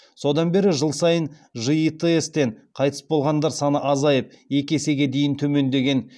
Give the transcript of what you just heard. содан бері жыл сайын житс тен қайтыс болғандар саны азайып екі есеге дейін төмендеген